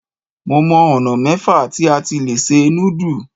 Mo mọ ọ̀nà mẹ́fà tí a ti lè se núdù.